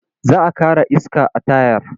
Za a ƙara iska a tayar.